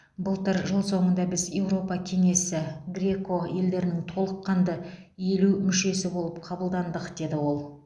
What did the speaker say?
былтыр жыл соңында біз еуропа кеңесі греко елдерінің толыққанды елу мүшесі болып қабылдандық деді ол